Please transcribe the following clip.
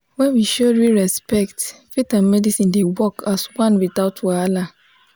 when we show real respect faith and medicine dey work as one without wahala.